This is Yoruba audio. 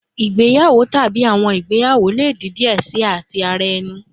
Igbeyawo tabi awọn igbeyawo le di diẹ sii ati ti ara ẹni